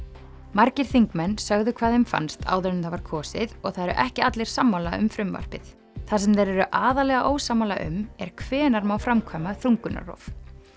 margir þingmenn sögðu hvað þeim fannst áður en það var kosið og það eru ekki allir sammála um frumvarpið það sem þeir eru aðallega ósammála um er hvenær má framkvæma þungunarrof